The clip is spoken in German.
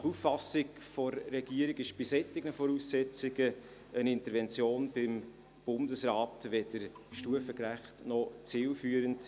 Nach Auffassung der Regierung ist bei solchen Voraussetzungen eine Intervention beim Bundesrat weder stufengerecht noch zielführend.